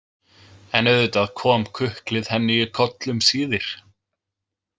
En auðvitað kom kuklið henni í koll um síðir.